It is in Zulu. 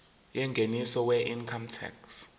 yengeniso weincome tax